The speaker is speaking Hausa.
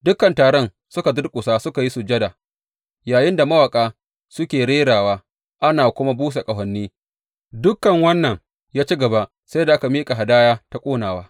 Dukan taron suka durƙusa suka yi sujada, yayinda mawaƙa suke rerawa, ana kuma busa ƙahoni, dukan wannan ya ci gaba sai da aka gama miƙa hadaya ta ƙonawa.